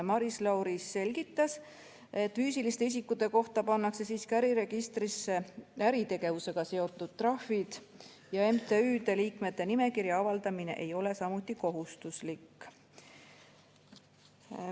Maris Lauri selgitas, et füüsiliste isikute kohta pannakse äriregistrisse äritegevusega seotud trahvid ja MTÜ liikmete nimekirja avaldamine ei ole samuti kohustuslik.